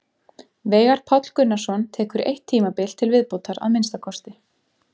Veigar Páll Gunnarsson tekur eitt tímabil til viðbótar að minnsta kosti.